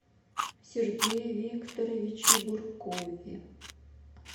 сергее викторовиче буркове